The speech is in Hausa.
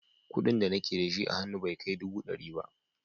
Kuɗin da nake da shi a hannu bai kai dubu ɗari ba.